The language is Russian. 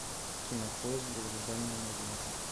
кинопоиск долгожданная новинка